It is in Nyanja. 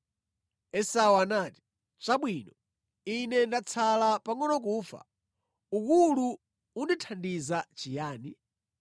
Esau anati, “Chabwino, ine ndatsala pangʼono kufa, ukulu undithandiza chiyani?”